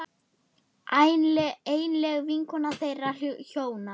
Einlæg vinkona þeirra hjóna.